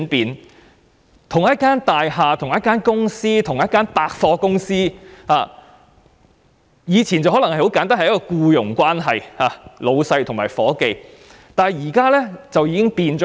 以往同一幢大廈、同一間公司或同一間百貨公司可能只有僱傭關係，即上司與下屬，但現在已有很大的轉變。